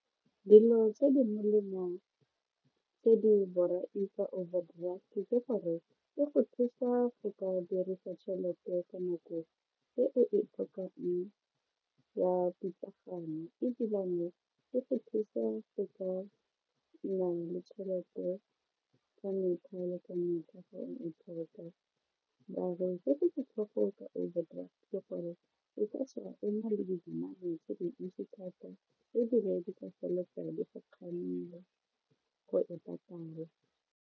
Dilo tse di molemo tse di borai ka overdraft ke gore e go thusa go ka dirisa tšhelete ka nako e o e tlhokang ka pitlagano ebilane e go thusa go ka nnang le tšhelete ka mekgwa maar-e se se botlhoko ka overdraft ke gore o ka tsoga o na le dinamane tse dintsi thata ebile di ka feleletsa di go kgamile go e patala.